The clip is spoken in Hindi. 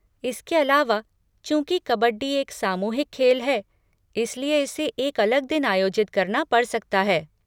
इसके अलावा, चूँकि कबड्डी एक सामूहिक खेल है, इसलिए इसे एक अलग दिन आयोजित करना पड़ सकता है।